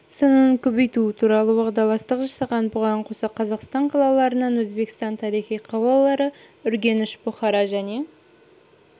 санын көбейту туралы уағдаластық жасалған бұған қоса қазақстан қалаларынан өзбекстанның тарихи қалалары үргеніш бұхара және